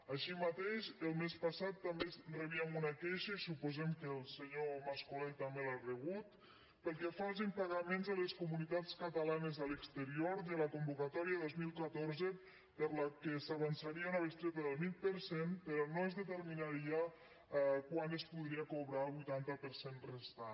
així mateix el mes passat també rebíem una queixa i suposem que el senyor mas colell també l’ha rebut pel que fa als impagaments a les comunitats catalanes a l’exterior de la convocatòria dos mil catorze per a la qual s’avançaria una bestreta del vint per cent però no es determinaria quan es podria cobrar el vuitanta per cent restant